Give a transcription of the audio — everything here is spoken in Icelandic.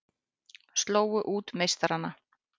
Slógu út meistarana